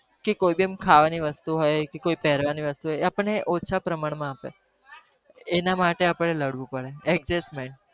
કે કોઈ બી ખાવાની વસ્તુ હોય, કે પેરવાની હોય, એ આપણ ને ઓછા પ્રમાણ માં આપે, એના માટે આપણે લડવું પડે adjusment